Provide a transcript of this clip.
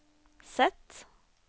Z